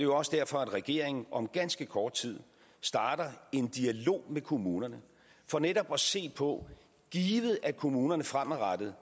også derfor at regeringen om ganske kort tid starter en dialog med kommunerne for netop at se på givet at kommunerne fremadrettet